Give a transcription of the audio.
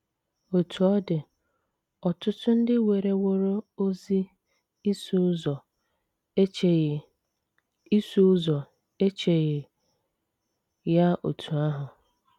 Otú ọ dị, ọtụtụ ndị werewooro ozi ịsụ ụzọ echeghị ịsụ ụzọ echeghị ya otú ahụ.